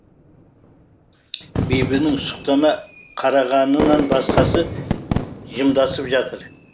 бибінің сұқтана қарағанынан басқасы жымдасып жатыр